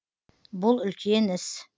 бұл үлкен іс